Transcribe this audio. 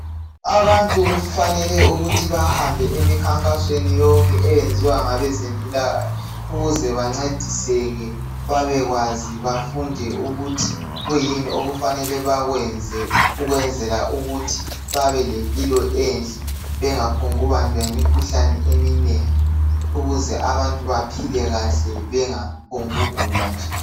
Abantu kufanele ukuthi bahambe emikhankasweni yonke eyenziwa ngabeze mpilakahle, ukuze bancediseke babekwazi bafunde ukuthi kuyini okufanele bakwenze, ukwenzela ukuthi babelempilo enhle bengaphungubanjwa yimikhuhlane ,eminengi ukuze abantu baphile kahle bengaphongugula nje.